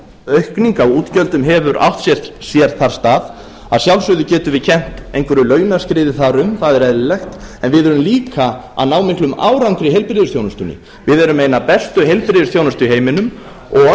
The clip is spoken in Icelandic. aukning á útgjöldum hefur átt sér þar stað að sjálfsögðu getum við kennt einhverju launaskriði þar um það er eðlilegt en við erum líka að ná miklum árangri í heilbrigðisþjónustunni við erum með eina bestu heilbrigðisþjónustu í heiminum og